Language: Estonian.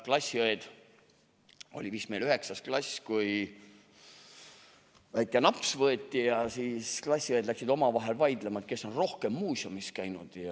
Olime vist 9. klassis, kui võeti väike naps ja klassiõed läksid omavahel vaidlema, kes on rohkem muuseumis käinud.